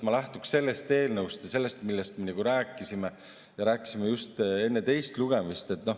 Ma lähtuksin sellest eelnõust ja sellest, millest me rääkisime ja rääkisime just enne teist lugemist.